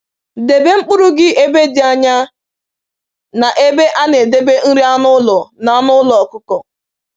Debe mkpụrụ gị ebe dị anya na ebe a na-edebe nri anụ ụlọ na anụ ụlọ ọkụkọ